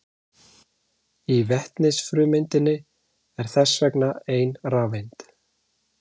Í vetnisfrumeindinni er þess vegna ein rafeind.